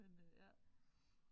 Men øh ja